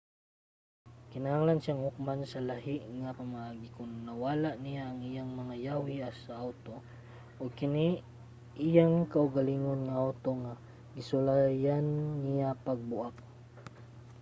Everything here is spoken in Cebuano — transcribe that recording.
kinahanglan siyang hukman sa lahi nga pamaagi kon nawala niya ang iyang mga yawi sa awto ug kini iyang kaugalingon nga awto nga gisulayan niya pagbuak